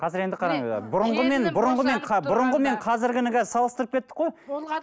қазір енді қараңыздар бұрынғы бұрынғымен бұрынғы мен қазіргіні салыстырып кеттік қой